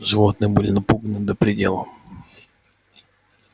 животные были напуганы до предела